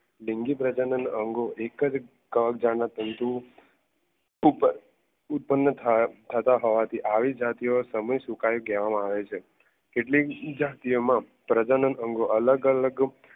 લિંગી પ્રજાનો ના અંગો એક જ કવક જાળના તંતુ ઉપર ઉપર ઉત્પન્ન થતાં હોવા થી આવી જાતીયો સમયસૂકાઈ કેટલીક જાતિઓ માં પ્રજનન અંગો અલગ-અલગ